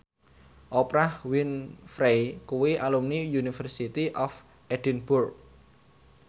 Oprah Winfrey kuwi alumni University of Edinburgh